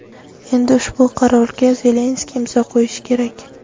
Endi ushbu qarorga Zelenskiy imzo qo‘yishi kerak.